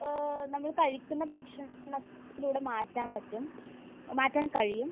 ഏഹ് നമ്മൾ കഴിക്കുന്ന ഭക്ഷണത്തിലൂടെ മാറ്റാൻ പറ്റും. മാറ്റാൻ കഴിയും.